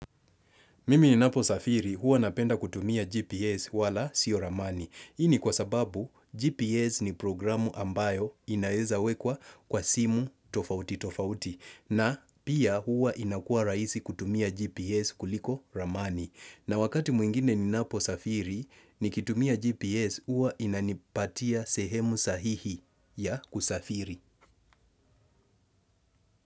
Mimi ninapo safiri huwa napenda kutumia GPS wala sio ramani. Hii ni kwa sababu, GPS ni programu ambayo inaweza wekwa kwa simu tofauti tofauti. Na pia huwa inakuwa rahisi kutumia GPS kuliko ramani. Na wakati mwingine ninapo safiri, nikitumia GPS huwa inanipatia sehemu sahihi ya kusafiri.